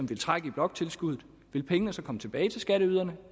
vil trække i bloktilskuddet vil pengene så komme tilbage til skatteyderne